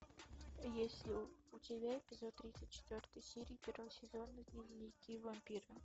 есть ли у тебя эпизод тридцать четвертой серии первого сезона дневники вампира